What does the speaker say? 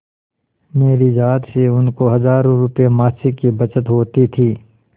मेरी जात से उनको हजारों रुपयेमासिक की बचत होती थी